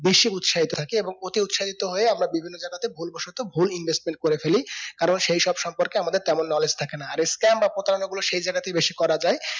বেশি উৎসাহিত থাকে এবং অতি উৎসাহিত হয়ে আমরা বিভিন্ন জায়গাতে ভুল বসতো ভুল investment করে ফেলি কারণ সেই সব সম্পর্কে আমাদের তেমন knowledge থাকে না এই scam বা প্রতারণা গুলো সেই জায়গাতেই বেশি করাযায়